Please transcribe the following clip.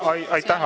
Aitäh!